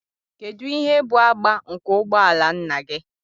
Kedu ihe bụ agba nke ụgbọ ala nna gị?